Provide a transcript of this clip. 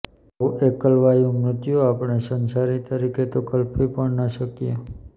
આવું એકલવાયું મૃત્યુ આપણે સંસારી તરીકે તો કલ્પી પણ ન શકીએ